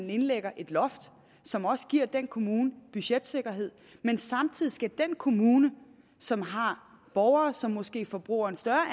indlægger et loft som også giver den kommune budgetsikkerhed men samtidig skal den kommune som har borgere som måske forbruger en større